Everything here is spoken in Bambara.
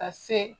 Ka se